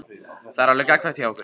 Það er alveg gagnkvæmt hjá okkur.